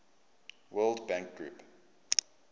world bank group